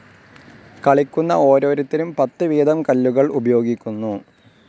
കളിക്കുന്ന ഓരോരുത്തരും പത്ത് വീതം കല്ലുകൾ ഉപയോഗിക്കുന്നു.